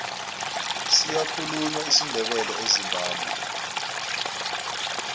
siyakhulunywa isindebele ezimbabwe